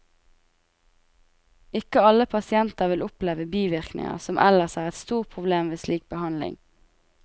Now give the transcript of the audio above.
Ikke alle pasienter vil oppleve bivirkninger, som ellers er et stort problem ved slik behandling.